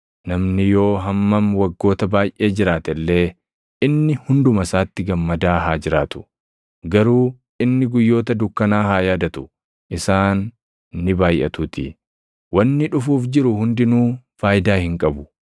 Namni yoo hammam waggoota baayʼee jiraate illee, inni hunduma isaatti gammadaa haa jiraatu. Garuu inni guyyoota dukkanaa haa yaadatu; isaan ni baayʼatuutii. Wanni dhufuuf jiru hundinuu faayidaa hin qabu.